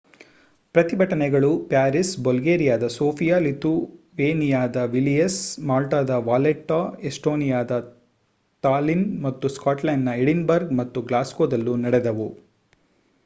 ಪ್ರತಿಭಟನೆಗಳು ಪ್ಯಾರಿಸ್‌ ಬಲ್ಗೇರಿಯಾದ ಸೋಫಿಯಾ ಲಿಥುವೇನಿಯಾದ ವಿಲ್ನಿಯಸ್‌ ಮಾಲ್ಟಾದ ವಾಲೆಟ್ಟಾ ಎಸ್ಟೋನಿಯಾದ ತಾಲ್ಲಿನ್‌ ಮತ್ತು ಸ್ಕಾಟ್ಲೆಂಡ್‌ನ ಎಡಿನ್‌ಬರ್ಗ್‌ ಮತ್ತು ಗ್ಲಾಸ್ಗೋದಲ್ಲೂ ನಡೆದವು